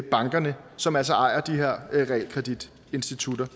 bankerne som altså ejer de her realkreditinstitutter